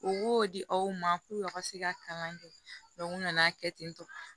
U b'o di aw ma k'u ka se ka kalan kɛ u nana kɛ ten tɔ